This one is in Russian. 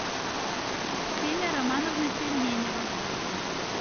ксения романовна пельменева